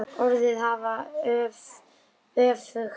Orðin hafa öfug áhrif.